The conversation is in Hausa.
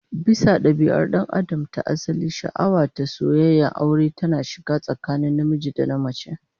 Bisa dabia'ar dan Adam ta asali, sha'awa da soyayyar aure tana shiga ne tsakanin namiji da namace